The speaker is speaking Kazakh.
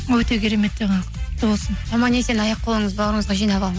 өте керемет жаңалық құтты болсын аман есен аяқ қолыңызды бауырыңызға жинап